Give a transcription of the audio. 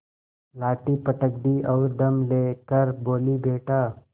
लाठी पटक दी और दम ले कर बोलीबेटा